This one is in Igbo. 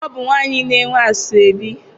Ọ bụ nwaanyị na-enwe asọebi.